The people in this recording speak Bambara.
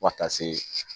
Fo ka taa se